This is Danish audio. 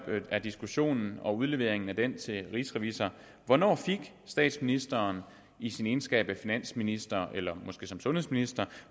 og diskussionen om udleveringen af den til rigsrevisor hvornår fik statsministeren i sin egenskab af finansminister eller måske sundhedsminister